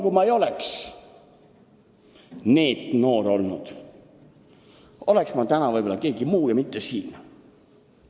Kui ma ei oleks NEET-noor olnud, oleks ma täna võib-olla keegi muu ja mitte siin.